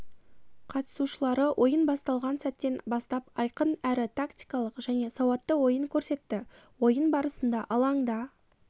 қатысушылары ойын басталған сәттен бастап айқын әрі тактикалық және сауатты ойын көрсетті ойын барысында алаңда